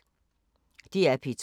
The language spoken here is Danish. DR P2